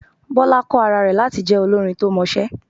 Bọ́lá kọ́ ara rẹ̀ láti jẹ olórin to mọṣẹ́.